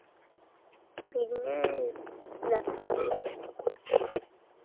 പിന്നെ ഇല്ല